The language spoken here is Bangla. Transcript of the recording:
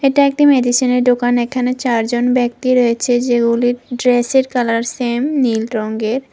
এটা একটি মেডিসিনের দোকান এখানে চারজন ব্যক্তি রয়েছে যেগুলি ড্রেসের কালার সেম নীল রঙ্গের।